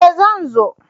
E! Zan zo.